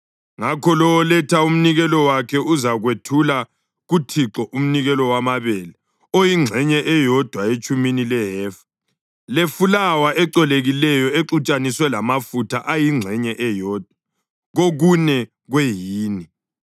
ngakho lowo oletha umnikelo wakhe uzakwethula kuThixo umnikelo wamabele oyingxenye eyodwa etshumini lehefa lefulawa ecolekileyo exutshaniswe lamafutha ayingxenye eyodwa kokune kwehini.